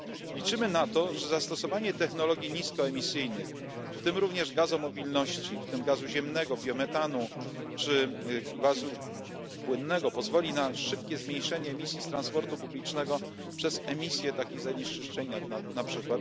Liczymy na to, że zastosowanie technologii niskoemisyjnych, w tym również gazomobilności, w tym gazu ziemnego, biometanu czy gazu płynnego, pozwoli na szybkie zmniejszenie emisji z transportu publicznego przez emisję takich zanieczyszczeń jak np.